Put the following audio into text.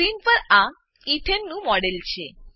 screen પર આ એથને ઈથેન નું મોડેલ છે